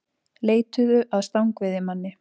Leituðu að stangveiðimanni